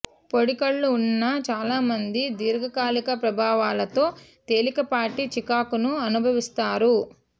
పొడి కళ్ళు ఉన్న చాలామంది దీర్ఘకాలిక ప్రభావాలతో తేలికపాటి చికాకును అనుభవిస్తారు